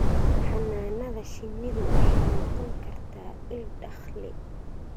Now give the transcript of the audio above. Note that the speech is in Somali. Xannaanada shinnidu waxay noqon kartaa il dakhli.